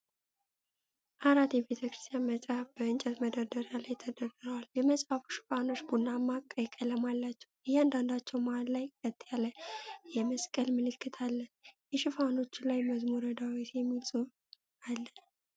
አራት የቤተክርስቲያን መጽሐፍት በእንጨት መደርደሪያ ላይ ተደርድረዋል። የመጽሐፎቹ ሽፋኖች ቡናማና ቀይ ቀለም አላቸው፤ እያንዳንዳቸው መሃል ላይ ቀጥ ያለ የመስቀል ምልክት አለ። የሽፋኖቹ ላይ "መዝሙረ ዳዊት" የሚል ጽሑፍ አለ።